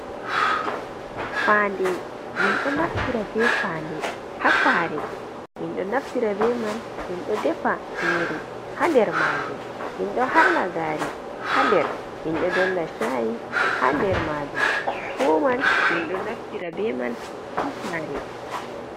Faande, min ɗo naftira be faande ha saare. Min ɗo naftira be man min ɗo defa nyiri, ha der maajum. Min ɗo harna gaari ha nder, min ɗo dolla shayi ha nder maajum. Fu man min ɗo naftira be man ha sare.